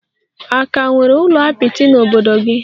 A ka nwere ụlọ apịtị n'obodo gị?